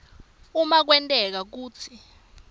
uma kwenteka kutsi